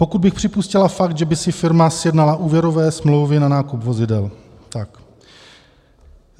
Pokud bych připustil fakt, že by si firma sjednala úvěrové smlouvy na nákup vozidel.